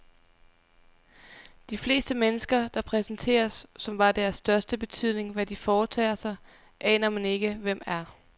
De fleste mennesker, der præsenteres, som var det af største betydning, hvad de foretager sig, aner man ikke, hvem er.